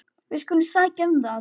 Við skulum sækja um það.